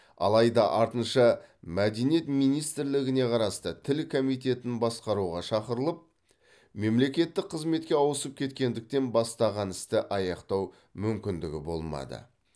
алайда артынша мәдениет министрлігіне қарасты тіл комитетін басқаруға шақырылып мемлекеттік қызметке ауысып кеткендіктен бастаған істі аяқтау мүмкіндігі болмады